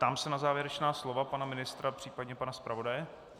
Ptám se na závěrečná slova pana ministra, případně pana zpravodaje.